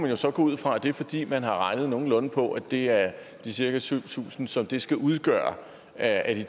jo så gå ud fra er fordi man har regnet nogenlunde på at det er de cirka syv tusind som det skal udgøre af de